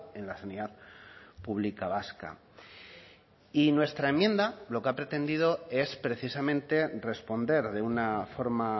en la sanidad pública vasca y nuestra enmienda lo que ha pretendido es precisamente responder de una forma